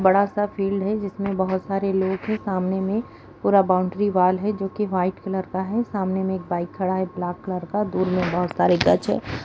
बड़ा सा फील्ड है जिसमें बहोत सारे लोग है सामने में पूरा बाउंड्री वॉल है जो की वाइट कलर का है सामने में एक बाइक खड़ा है ब्लैक कलर का दूर में बहोत सारे है।